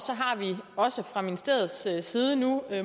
har vi også fra ministeriets side nu